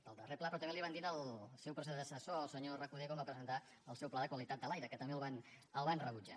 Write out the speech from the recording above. del darrer pla però també ho van dir al seu predecessor el senyor recoder quan va presentar el seu pla de qualitat de l’aire que també el van rebutjar